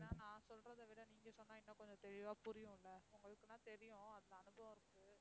ஏன்னா நான் சொல்றதை விட நீங்க சொன்னா இன்னும் கொஞ்சம் தெளிவா புரியும் இல்ல, உங்களுக்குன்னா தெரியும் அந்த அனுபவம் இருக்கு